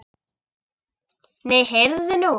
Nei, heyrðu nú.